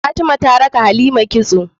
Fatima ta raka halima kitso